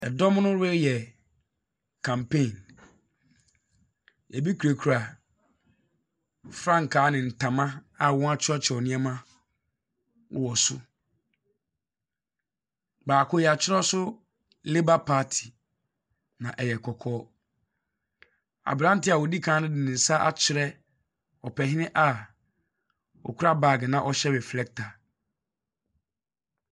Ɛdɔm no reyɛ campaign a ɛbi kurakura frankaa ne ntama a wɔakyerɛkyerɛw nneɛma wɔ so. Baako, yɛakyerɛw so labour party na ɛyɛ kɔkɔɔ, aberante a odi kan no de ne nsa akyerɛ ɔpanin a okura baage na ɔhyɛ reflector.